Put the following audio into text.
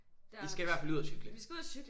I skal i hvert fald ud og cykle